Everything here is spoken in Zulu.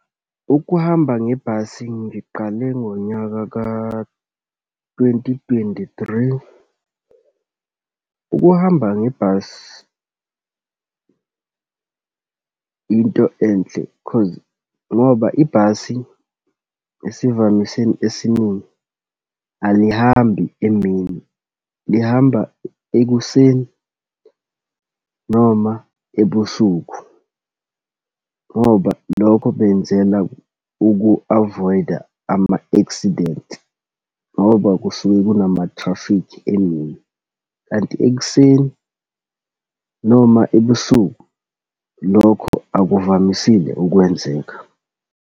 Ukuhamba ngebhasi ngiqale ngonyaka ka twenty twenty three. Ukuhamba ngebhasi into enhle cause ngoba ibhasi esivamiseni esiningi, alihambi emini, lihamba ekuseni noma ebusuku. Ngoba lokho benzela uku-avoid-a ama-accident ngoba kusuke kunamathrafikhi emini, kanti ekuseni noma ebusuku lokho akuvamisile ukwenzeka.